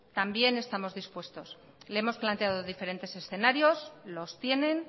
también estamos dispuestos le hemos planteado diferentes escenarios los tienen